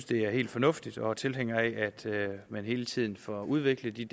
det er helt fornuftigt og er tilhængere af at man hele tiden får udviklet de